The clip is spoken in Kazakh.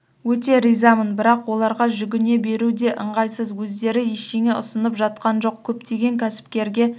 өте ризамын бірақ оларға жүгіне беру де ыңғайсыз өздері ештеңе ұсынып жатқан жоқ көптеген кәсіпкерге